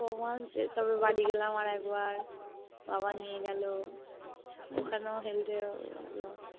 তারপরে বাড়ি গেলাম আর একবার বাবা নিয়ে গেলো ওখানেও Health এর